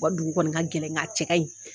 U ka dugu kɔni ka gɛlɛn nka a cɛ ka ɲi